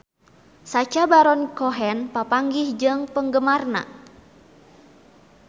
Sacha Baron Cohen papanggih jeung penggemarna